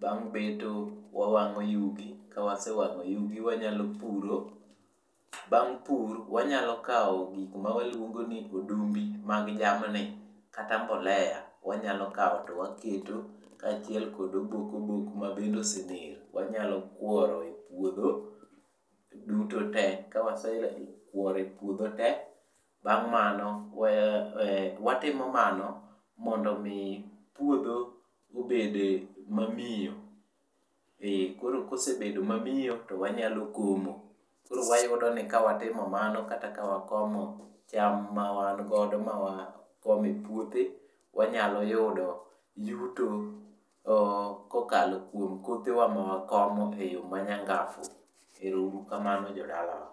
bang' beto wawango yugi kawasewango yugi wanyalo puro ,bang' puro wanyalo gik mawaluongo ni odumbi mag jamni kata mbolea wanyalo kawo to waketo ka achiel kod obok obok mabende osener wanyalo kuoro e puodho kawasekuoro e puodho duto tee, watimo mano mondo mi puodho obed mamiyo koro kosebedo mamiyo koro kosebedo to wanyalo komo, koro wayudo ni kawatimo kamano kata kawa komo cham mawan godo mawakomo e puodhe wanyalo yudo yuto kokalo kuom puodhe wa mawakomo e yoo manyangafu ero uru kamano jodalawa.